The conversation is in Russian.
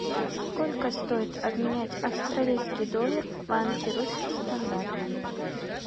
сколько стоит обменять австралийский доллар в банке русский стандарт